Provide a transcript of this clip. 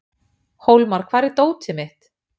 Hólmar, hvar er dótið mitt?